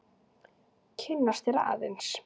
Kynnast þér aðeins.